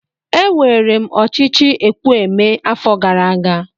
Ewere m ochichi ekwu emee afo gara aga.